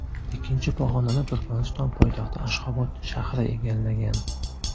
Ikkinchi pog‘onani Turkmaniston poytaxti Ashxobod shahri egallagan.